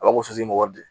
A b'a fɔ ko wari de